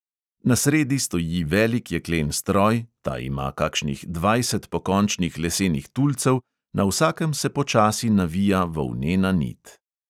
Na sredi stoji velik jeklen stroj, ta ima kakšnih dvajset pokončnih lesenih tulcev, na vsakem se počasi navija volnena nit.